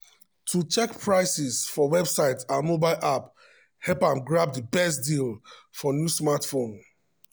to check prices for websites and mobile apps help am grab di best deal for new smartphone.